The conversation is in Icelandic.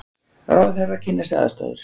Ráðherrar kynna sér aðstæður